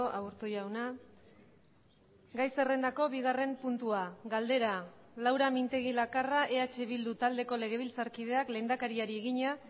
aburto jauna gai zerrendako bigarren puntua galdera laura mintegi lakarra eh bildu taldeko legebiltzarkideak lehendakariari egina